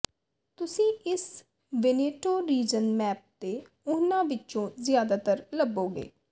ਤੁਸੀਂ ਇਸ Veneto region map ਤੇ ਉਹਨਾਂ ਵਿਚੋਂ ਜ਼ਿਆਦਾਤਰ ਲੱਭੋਗੇ